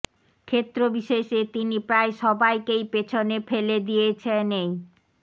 ক্ষেত্র বিশেষে তিনি প্রায় সবাইকেই পেছনে ফেলে দিয়েছেন এই